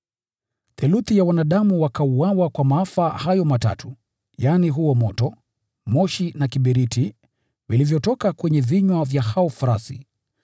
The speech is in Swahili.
Theluthi ya wanadamu wakauawa kwa mapigo hayo matatu, yaani, huo moto, moshi na kiberiti, vilivyotoka kwenye vinywa vya hao farasi.